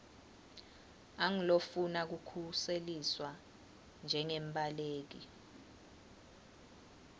angulofuna kukhuseliswa njengembaleki